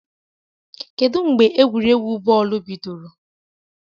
Kedu mgbe egwuregwu bọọlụ bidoro?